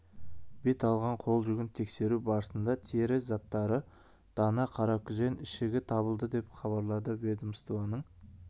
бет алған қол жүгін тексеру барысында тері заттары дана қаракүзен ішігі табылды деп хабарлады ведомствоның